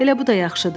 Elə bu da yaxşıdır.